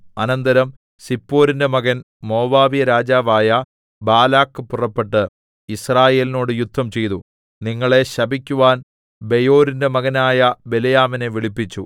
അനന്തരം സിപ്പോരിന്റെ മകൻ മോവാബ്യരാജാവായ ബാലാക്ക് പുറപ്പെട്ട് യിസ്രായേലിനോട് യുദ്ധംചെയ്തു നിങ്ങളെ ശപിക്കുവാൻ ബെയോരിന്റെ മകനായ ബിലെയാമിനെ വിളിപ്പിച്ചു